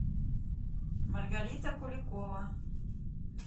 маргарита куликова